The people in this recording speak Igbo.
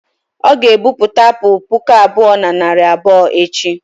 ọ ga-ebubata apụl puku abụọ na narị abụọ echi